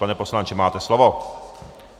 Pane poslanče, máte slovo.